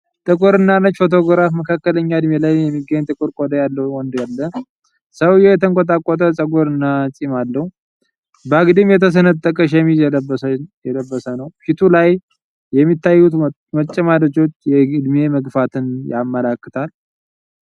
ጥቁርና ነጭ ፎቶግራፍ መካከለኛ ዕድሜ ላይ የሚገኝ ጥቁር ቆዳ ያለው ወንድ አለ። ሰውዬው የተንቆጠቆጠ ፀጉር እና ጢም አለው። በአግድም የተሰነጠቀ ሸሚዝ የለበሰ ኘው። ፊቱ ላይ የሚታዩት መጨማደዶች የእድሜ መግፋትን ያመለክታሉ።